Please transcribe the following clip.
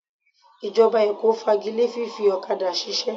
Ìjọba Èkó fagile fífi ọ̀kadà ṣiṣẹ́